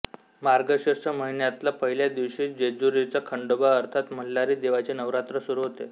मार्गशीर्ष महिन्यातल्या पहिल्या दिवशी जेजुरीचा खंडोबा अर्थात मल्हारी देवाचे नवरात्र सुरू होते